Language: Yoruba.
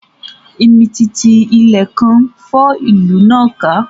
Ìmìtìtì ilẹ̀ kan fọ́ ìlú náà ká